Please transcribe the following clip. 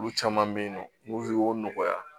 Olu caman bɛ yen nɔ olu nɔgɔya